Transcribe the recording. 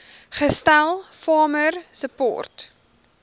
gestel farmer support